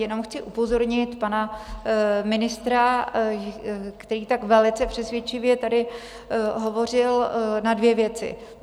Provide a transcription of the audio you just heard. Jenom chci upozornit pana ministra, který tak velice přesvědčivě tady hovořil, na dvě věci.